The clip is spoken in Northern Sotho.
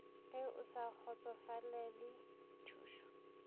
ge o sa kgotsofalele thušo